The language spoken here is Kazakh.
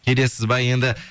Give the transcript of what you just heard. келесіз бе енді